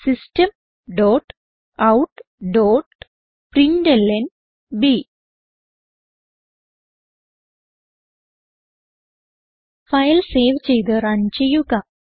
system dot out dot println file save ചെയ്ത് run ചെയ്യുക